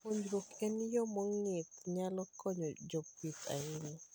Puonjruok e yo mong'ith nyalo konyo jopith ahinya.